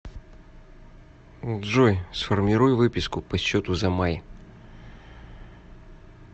джой сформируй выписку по счету за май